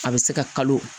A bɛ se ka kalo